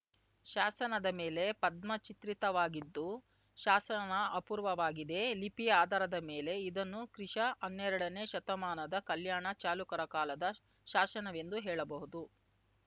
ಶಾಸನದ ಮೇಲೆ ಪದ್ಮ ಚಿತ್ರಿತವಾಗಿದ್ದು ಶಾಸನ ಅಪೂರ್ವವಾಗಿದೆ ಲಿಪಿಯ ಆಧಾರದ ಮೇಲೆ ಇದನ್ನು ಕ್ರಿಶ ಹನ್ನೆರಡನೇ ಶತಮಾನದ ಕಲ್ಯಾಣ ಚಾಲುಕ್ಯರ ಕಾಲದ ಶಾಸನವೆಂದು ಹೇಳಬಹುದು